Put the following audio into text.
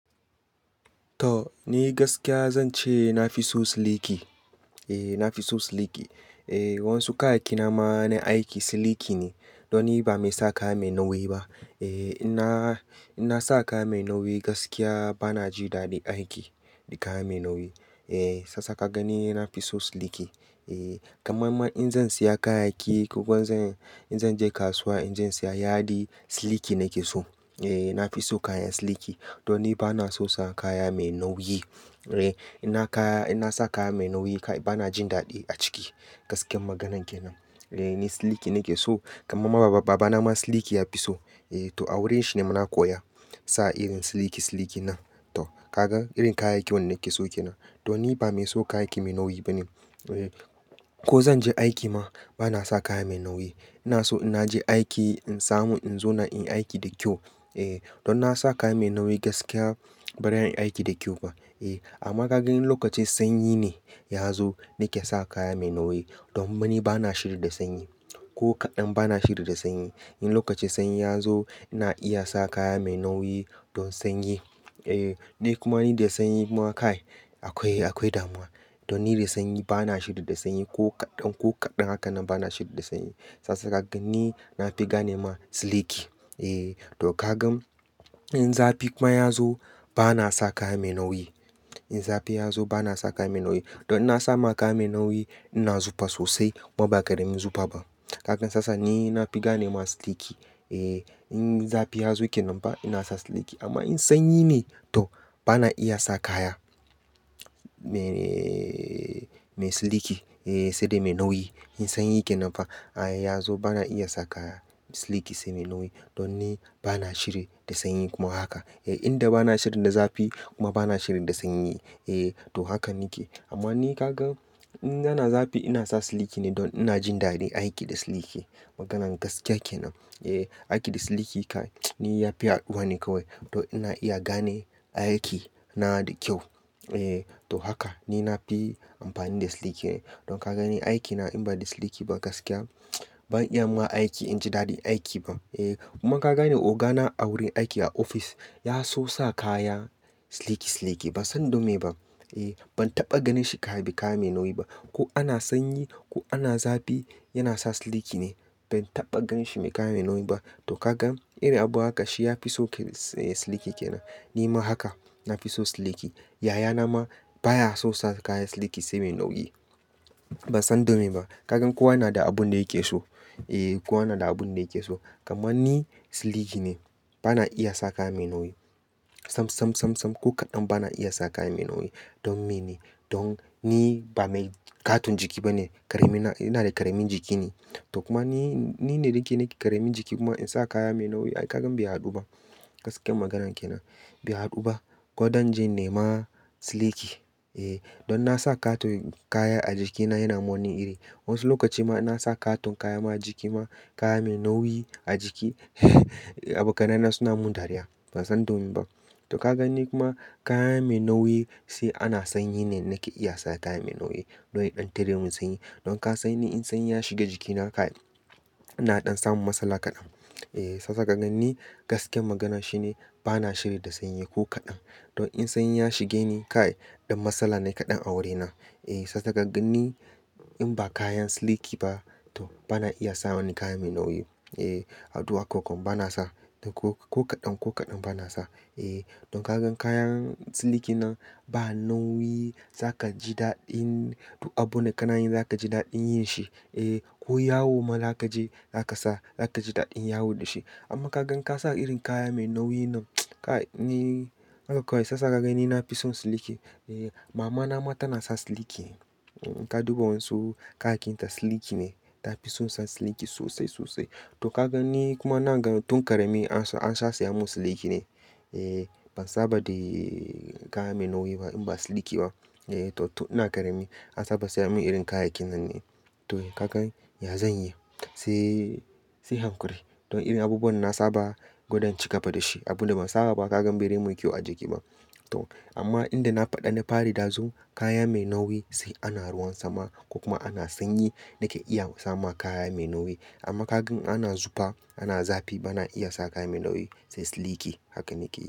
To, ni gaskiya zan ce na fi so siliki. E, na fi so siliki. E, wasu kayaki na ma na aiki siliki ne. Don ni ba mai sa kaya mai nauyi ba. E, ina, ina sa kaya mai nauyi gaskiya bana ji daɗin aiki da kaya mai nauyi. E, sasa ka gani na fi so siliki. E, kamar man in zan siya kayaki ko zan, in zan je kasuwa, in zan siya yadi, siliki nake so. E, na fi so kayan siliki. Don ni bana so sa kaya mai nauyi. E, ina kaya, ina sa kaya mai nauyi bana jin daɗi a ciki. Gaskiyar maganan kenan. E, ni siliki nake so. Kamar ma baba, baba na ma siliki ya fi so. E, to a wurin shi ne ma na koya sa irin siliki, siliki nan. To, kaga irin kayaki wanda nake so kenan. Don ni ba mai so kayaki mai nauyi ba ne. E, ko zan je aiki ma bana sa kaya mai nauyi. Ina so in naje aiki, in samu, in zauna, in yi aiki da kyau. E, don na sa kaya mai nauyi gaskiya ba zan yi aiki da kyau ba. E, amma ka gan in lokacin sanyi ne ya zo nake sa kaya mai nauyi. Domin ni bana shiri da sanyi. Ko kaɗan bana shiri da sanyi. In lokacin sanyi ya zo ina iya sa kaya mai nauyi don sanyi. E, ni kuma ni da sanyi kuma kai akwai, akwai damuwa. Don ni da sanyi bana shiri da sanyi ko kaɗan, ko kaɗan haka na bana shiri da sanyi. Sasa ka gan ni na fi gane ma siliki. E, to ka gan in zafi kuma ya zo bana sa kaya mai nauyi. In zafi ya zo bana sa kaya mai nauyi. Don na sa ma kaya mai nauyi ina zufa sosai kuma ba karemin zufa ba. Kaga sasa ni na fi gane ma siliki. E, in zafi ya zo kenan fa ina sa siliki. Amma in sanyi ne to bana iya sa kaya mai, mai siliki. E, sai dai mai nauyi. In sanyi kenan fa ya zo bana iya saka siliki sai mai nauyi. Don ni bana shiri da sanyi kuma haka. E, inda bana shirin da zafi kuma bana shiri da sanyi. E, to haka nike. Amma ni ka gan in ana zafi ina sa siliki ne don ina jin daɗin aiki da siliki. Maganan gaskiya kenan. E, aiki da siliki kai, ni ya fi haduwa ne kawai. To ina iya gane aiki na da kyau. E, to haka ni na fi amfani da siliki ne. Don ka gan ni aiki na in ba da siliki ba gaskiya ban iya ma aiki, in ji daɗin aiki ba. E, kuma ka gan ogana a wurin aiki a ofis ya so sa kaya siliki, siliki. Ban san don meye ba. E, ban taɓa ganin shi kayan bi kaya mai nauyi ba. Ko ana sanyi ko ana zafi yana sa siliki ne. Ban taɓa gan shi mai kaya mai nauyi ba. To kaga irin abu haka shi ya fi so siliki kenan. Ni ma haka na fi so siliki. Yaya na ma baya so sa kaya siliki sai mai nauyi. Ban san dome ba. Kagan kowa yana da abin da yake so. E, kowa yana da abin da yake so. Kamar ni siliki ne. Bana iya sa kaya mai nauyi. Sam, sam, sam, sam ko kaɗan bana iya sa kaya mai nauyi. Don me ne? Don ni ba mai katon jiki ba ne. Karemina, ina da karemin jiki ne. To kuma ni, ni ne ɗinki nake karemin jiki kuma in sa kaya mai nauyi ai kagan bai haɗu ba. Gaskiyar maganan kenan. Bai haɗu ba. Gwadan inje in nema siliki. E, don na sa katon kaya a jikina yana min wani iri. Wasu lokaci ma ina sa katon kaya ma jiki ma kaya mai nauyi a jiki abokanai suna mun dariya. Ban san dome ba. To kaga ni kuma kaya mai nauyi sai ana sanyi ne nake iya saka kaya mai nauyi. Don ya ɗan tare mun sanyi. Don ka sani in sanyi ya shiga jikina kai, ina ɗan samun matsala kaɗan. E, sasa ka gan ni gaskiyar maganan shine bana shiri da sanyi ko kaɗan. Don in sanyi ya shige ni kai ɗan matsala ne kaɗan a wurina. E, sasa ka gan ni in ba kayan siliki ba to bana iya sa wani kaya mai nauyi. E, haduwa kokon bana sa. Don ko kaɗan, ko kaɗan bana sa. E, don kagan kayan siliki nan ba nauyi za ka ji daɗin abun da kana yin za ka ji daɗin yin shi. E, ko yawo ma za ka je, za ka sa, za ka ji daɗin yawo da shi. Amma ka gan ka sa irin kaya mai nauyi nan kai ni haka kawai sasa ka gani na fi son siliki. E, mama na ma tana sa siliki. Ta duba wasu kakinta siliki ne. Ta fi so sa siliki sosai, sosai. To kagan ni kuma na gan tun karemi an sa, an sa saya mun siliki ne. E, ban saba da kaya mai nauyi ba in ba siliki ba. E, to tun ina karemi an saba saya mun irin kayaki nan ne. To kagan ya zanyi, sai, sai hankuri. Don irin abubuwan na saba gwanda in ci gaba da shi. Abin da ban saba ba kagan bai zai min kyau a jiki ba. To amma inda na faɗa na fari ɗazu kaya mai nauyi sai ana ruwan sama ko kuma ana sanyi nake iya sa ma kaya mai nauyi. Amma kakan ana zufa, ana zafi bana iya sa kaya mai nauyi sai siliki. Haka nike.